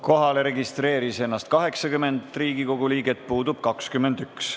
Kohalolijaks registreeris ennast 80 Riigikogu liiget, puudub 21.